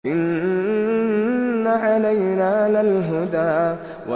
إِنَّ عَلَيْنَا لَلْهُدَىٰ